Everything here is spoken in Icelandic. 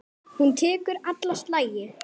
Hún tekur alla slagi.